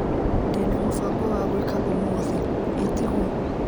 Ndina mũbango wa gwĩka ũmũthĩ, ĩtigwo?